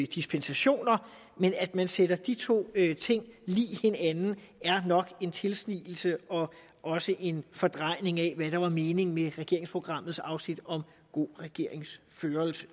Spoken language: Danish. dispensationer men at man sætter de to ting lig hinanden er nok en tilsnigelse og også en fordrejning af hvad der var meningen med regeringsprogrammets afsnit om god regeringsførelse